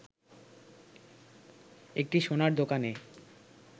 একটি সোনার দোকানে